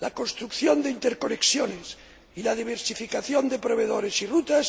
la construcción de interconexiones y la diversificación de proveedores y rutas